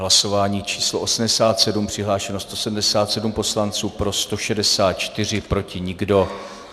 Hlasování číslo 87, přihlášeno 177 poslanců, pro 164, proti nikdo.